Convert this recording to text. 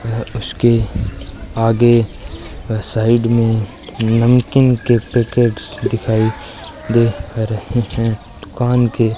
यह उसके आगे अह साइड में नमकीन के पैकेट्स दिखाई दे रहे हैं दुकान के --